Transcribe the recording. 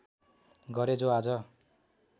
गरे जो आज